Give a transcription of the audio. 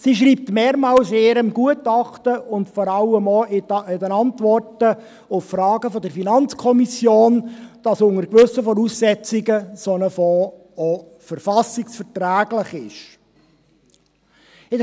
Sie schreibt in ihrem Gutachten mehrmals, und vor allem auch in Antworten auf Fragen der FiKo, dass ein solcher Fonds unter gewissen Voraussetzungen auch verfassungsverträglich sei.